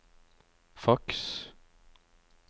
faks